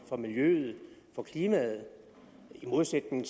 og miljøet i modsætning